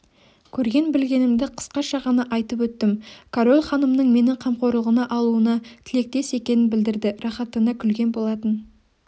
көрген-білгенімді қысқаша ғана айтып өттім король ханымның мені қамқорлығына алуына тілектес екенін білдірді рақаттана күлген болатын